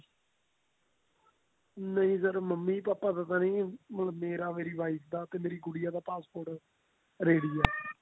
ਨਹੀਂ sir mummy papa ਦਾ ਤਾਂ ਨੀ ਮੇਰਾ ਮੇਰੀ wife ਦਾ ਮੇਰੀ ਗੁਡੀਆ ਦਾ passport ready ਆ